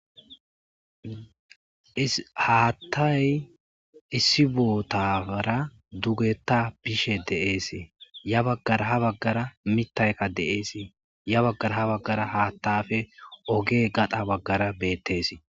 Haattay issi bootaara dugetta bishe deeese ya baggara ha baggara mittaykka deees ya baggara ha baggara haattafe oge gada baggara beettes.